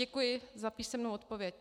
Děkuji za písemnou odpověď.